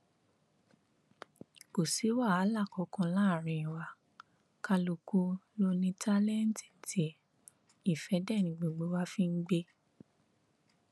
kò sí wàhálà kankan láàrin wa kálukú ló ní táńtẹǹtì tiẹ ìfẹ dé ni gbogbo wa fi ń gbé